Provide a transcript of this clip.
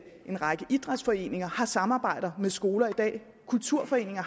en række idrætsforeninger samarbejder med skoler i dag kulturforeninger